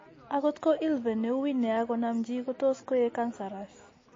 Akot ko ILVEN ne uui nia konam chi kotos koek cancerous